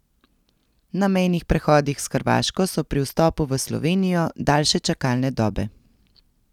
Na mejnih prehodih s Hrvaško so pri vstopu v Slovenijo daljše čakalne dobe.